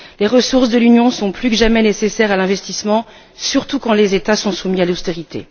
Les ressources de l'Union sont plus que jamais nécessaires à l'investissement, surtout quand les États sont soumis à l'austérité.